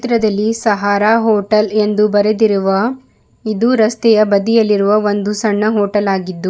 ಪಕ್ಕದಲ್ಲಿ ಸಹಾರ ಹೋಟೆಲ್ ಎಂದು ಬರೆದಿರುವ ಇದು ರಸ್ತೆಯ ಬದಿಯಲ್ಲಿರುವ ಒಂದು ಸಣ್ಣ ಹೋಟೆಲ್ ಆಗಿದ್ದು--